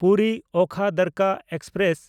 ᱯᱩᱨᱤ–ᱳᱠᱷᱟ ᱫᱟᱨᱠᱟ express